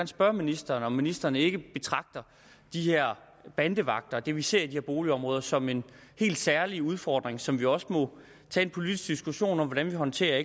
spørge ministeren om ministeren ikke betragter de her bandevagter og det vi ser i de her boligområder som en helt særlig udfordring som vi også må tage en politisk diskussion om hvordan vi håndterer